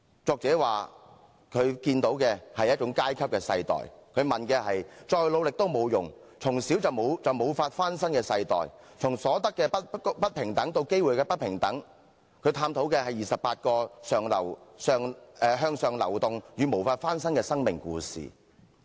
作者說他看見的是一種階級的世代，再努力都沒用，從小便無法翻身的世代，從所得的不平等到機會的不平等，作者探討的是28個向上流動與無法翻身的生命故事。